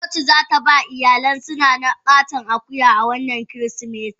Coci zataba iyalinsu nana katon akuya wannan kirismetin.